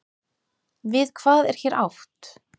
Við hvað er hér átt?